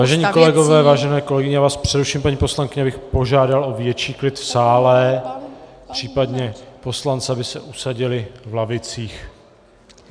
Vážení kolegové, vážené kolegyně - já vás přeruším, paní poslankyně, abych požádal o větší klid v sále, případně poslance, aby se usadili v lavicích.